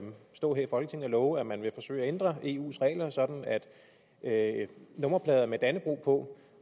stå her i folketinget og love at man vil forsøge at ændre eus regler sådan at nummerplader med dannebrog på